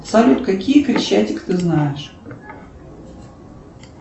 салют какие крещатик ты знаешь